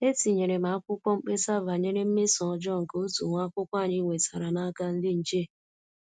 Etinyere m akwụkwọ mkpesa banyere mmeso ọjọọ nke otu nwa akwụkwọ anyị nwetara n'aka ndị nche